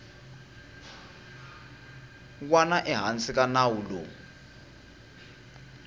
wana ehansi ka nawu lowu